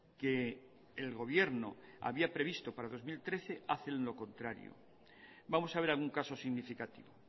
que el gobierno había previsto para dos mil trece hacen lo contrario vamos a ver algún caso significativo